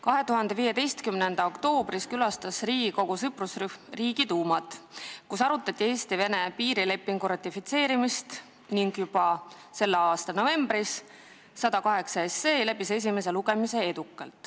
2015. aasta oktoobris külastas Riigikogu sõprusrühm Riigiduumat, kus arutati Eesti ja Venemaa piirilepingu ratifitseerimist ning juba sama aasta novembris läbis eelnõu 108 edukalt esimese lugemise.